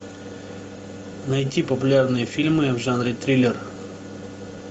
найти популярные фильмы в жанре триллер